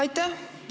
Aitäh!